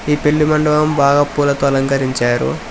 ఈ పెళ్లి మండపం బాగా పూలతో అలకరించారు.